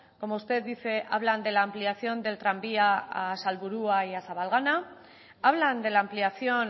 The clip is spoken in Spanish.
como usted dice hablan de la ampliación del tranvía a salburua y a zabalgana hablan de la ampliación